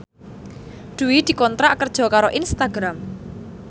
Dwi dikontrak kerja karo Instagram